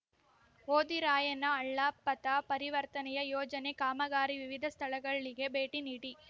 ಹೋದಿರಾಯನ ಹಳ್ಳ ಪಥ ಪರಿವರ್ತನೆಯ ಯೋಜನೆ ಕಾಮಗಾರಿ ವಿವಿಧ ಸ್ಥಳಗಳಿಗೆ ಭೇಟಿ ನೀಡಿ